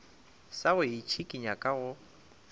sa go itšhikinya ka go